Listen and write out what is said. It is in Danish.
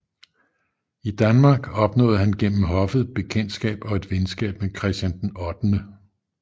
I Danmark opnåede han gennem hoffet bekendtskab og et venskab med Christian VIII